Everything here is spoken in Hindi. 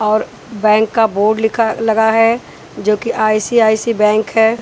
और बैंक का बोर्ड लिखा लगा है जोकि आई_सी_आई_सी बैंक है।